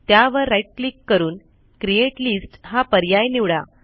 त्यावर right click करून create list हा पर्याय निवडा